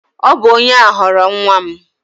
Ọ bụ onye a ghọrọ nwa m